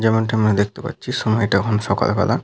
যেমনটি আমরা দেখতে পাচ্ছি সময়টা এখন সকালবেলা।